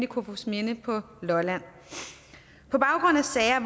kofoedsminde på lolland på baggrund af sager